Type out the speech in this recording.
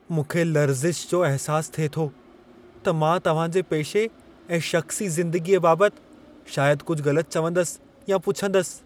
मूंखे लर्ज़िश जो अहसासु थिए थो त मां तव्हां जे पेशे ऐं शख़्सी ज़िंदगीअ बाबति शायदि कुझु गलति चवंदसि या पुछंदसि।